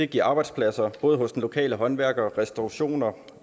giver arbejdspladser både hos den lokale håndværker restaurationerne